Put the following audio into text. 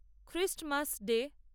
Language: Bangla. Christmas day